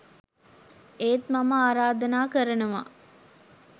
ඒත් මම ආරාධනා කරනවා